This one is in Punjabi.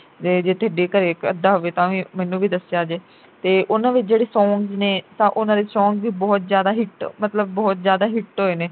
ਜੇ ਥੇਡੇ ਘਰੇ ਇਕ ਅੱਧਾ ਹੋਵੇ ਤਾਂ ਵੀ ਮੈਨੂੰ ਵੀ ਦੱਸਿਆ ਜੇ ਤੇ ਉਨ੍ਹਾਂ ਵਿੱਚ ਜਿਹੜੇ songs ਨੇ ਤਾਂ ਉਨ੍ਹਾਂ ਦੇ songs ਵੀ ਬਹੁਤ ਜਿਆਦਾ hit ਮਤਲਬ ਬਹੁਤ ਜਿਆਦਾ hit ਹੋਏ ਨੇ